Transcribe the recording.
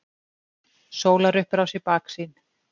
Sólarupprás í baksýn.